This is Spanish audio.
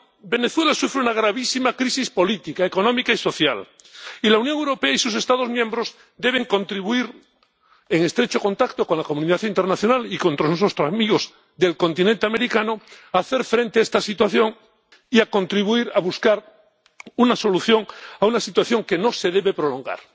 Venezuela sufre una gravísima crisis política, económica y social, y la Unión Europea y sus Estados miembros deben contribuir, en estrecho contacto con la comunidad internacional y con nuestros amigos del continente americano, a hacer frente a esta situación y a contribuir a buscar una solución a una situación que no se debe prolongar.